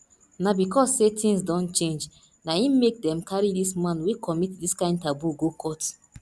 na because sey tins don change na im make dem carry dis man wey commit dis kind taboo go court